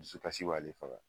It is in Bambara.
Dusukasi b'ale faga.